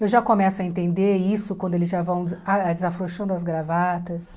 Eu já começo a entender isso quando eles já vão ah desafrouxando as gravatas.